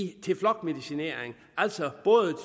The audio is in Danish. til flokmedicinering altså både